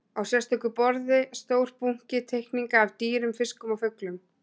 Á sérstöku borði stór bunki teikninga af dýrum, fiskum og fuglum.